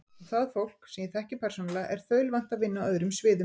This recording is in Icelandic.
Og það fólk, sem ég þekki persónulega, er þaulvant að vinna á öðrum sviðum.